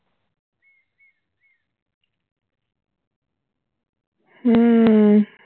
হম